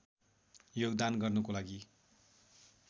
योगदान गर्नको लागि